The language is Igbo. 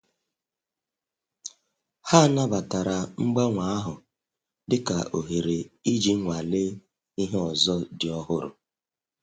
Ha nabatara mgbanwe ahụ dị ka ohere iji nwalee ihe ọzọ dị ọhụrụ